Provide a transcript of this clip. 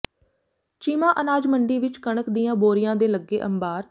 ਚੀਮਾ ਅਨਾਜ ਮੰਡੀ ਵਿੱਚ ਕਣਕ ਦੀਆਂ ਬੋਰੀਆਂ ਦੇ ਲੱਗੇ ਅੰਬਾਰ